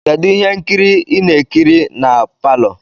Kedu ihe nkiri ị na-ekiri na palọ?